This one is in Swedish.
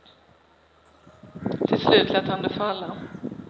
Till slut lät han det falla.